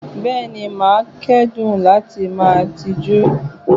Bẹ́ẹ̀ni, màá dẹ́kun láti máa tijú.